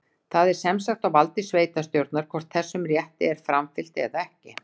Það er sem sagt á valdi sveitarstjórnar, hvort þessum rétti er framfylgt eða ekki.